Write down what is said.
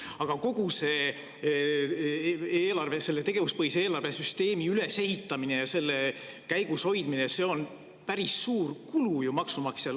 Aga kogu selle tegevuspõhise eelarve süsteemi ülesehitamine ja selle käigus hoidmine on ju päris suur kulu maksumaksjale.